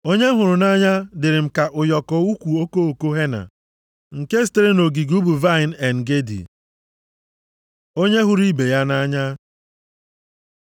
Onye m hụrụ nʼanya dịrị m ka ụyọkọ ukwu okoko henna + 1:14 Okoko osisi henna bụ ahịhịa isi ọma a na-eji emepụta senti. nke sitere nʼogige ubi vaịnị En-Gedi. + 1:14 Bụ odo mmiri dị nʼọdịda osimiri nwụrụ anwụ. Ọtụtụ osisi nke a na-esi na ha enweta eso na-esi isi ọma, jupụtara nʼebe ahụ. Onye hụrụ ibe ya nʼanya